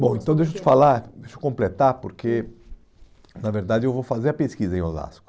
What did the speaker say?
Bom, então deixa eu te falar, deixa eu completar, porque, na verdade, eu vou fazer a pesquisa em Osasco.